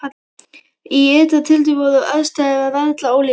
Í ytra tilliti voru aðstæður harla ólíkar.